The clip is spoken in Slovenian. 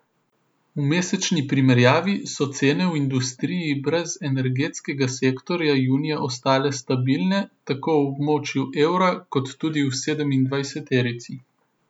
V mesečni primerjavi so cene v industriji brez energetskega sektorja junija ostale stabilne tako v območju evra kot tudi v sedemindvajseterici.